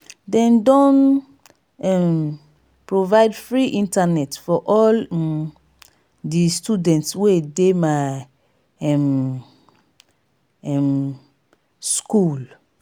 dem don um provide free internet for all um di students wey dey my um um skool